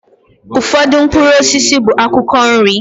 Ụfọdụ mkpụrụ osisi bụ akwụkwọ nri